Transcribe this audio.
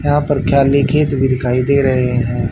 यहां पे दिखाई दे रहे हैं।